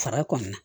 Fara kɔnɔna